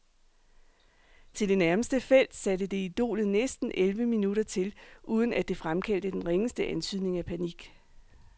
Til det nærmeste felt, satte det idolet næsten elleve minutter til, uden at det fremkaldte den ringeste antydning af panik.